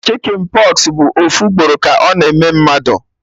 Chicjen pox bụ ofu ugboro ka ọ na-eme mmadụ